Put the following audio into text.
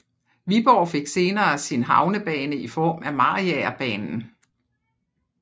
Viborg fik senere sin havnebane i form af Mariagerbanen